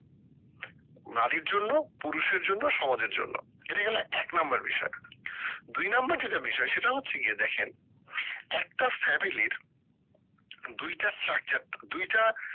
নারীর জন্য পুরুষের জন্য সমাজের জন্য এটা গেলো এক number বিষয় দুই number যেটা বিষয় সেটা হচ্ছে গিয়ে দেখেন একটা family এর দুইটা টা দুইটা